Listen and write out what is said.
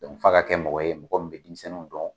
f'a ka kɛ mɔgɔ ye mɔgɔ min be denmisɛnninw dɔn